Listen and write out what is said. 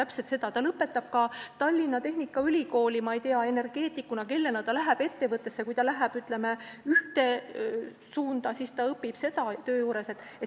Kui inimene lõpetab Tallinna Tehnikaülikooli, ma ei tea, energeetikuna, ta läheb ettevõttesse tööle ja kui ta valib, ütleme, ühe suuna, siis ta õpib seda töö juures.